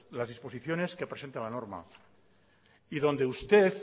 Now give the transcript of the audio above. las disposiciones que presenta la norma y donde usted